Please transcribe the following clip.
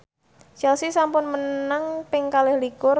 Chelsea sampun menang ping kalih likur